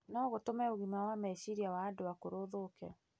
no gũtũme ũgima wa meciria wa andũ akũrũ ũthũke.